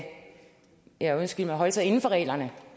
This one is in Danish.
ja undskyld holde sig inden for reglerne